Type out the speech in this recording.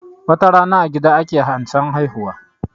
Watarana a gida ake ansan haihuwa